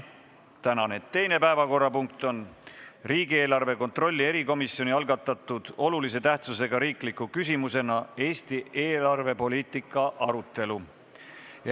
Tänane teine päevakorrapunkt on riigieelarve kontrolli erikomisjoni algatatud olulise tähtsusega riikliku küsimuse "Eesti eelarvepoliitika" arutelu.